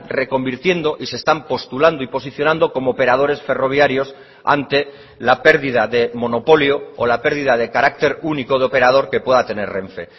reconvirtiendo y se están postulando y posicionando como operadores ferroviarios ante la pérdida de monopolio o la pérdida de carácter único de operador que pueda tener renfe